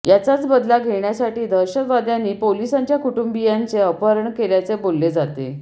याचाच बदला घेण्यासाठी दहशतवाद्यांनी पोलिसांच्या कुटुंबीयांचे अपहरण केल्याचे बोलले जाते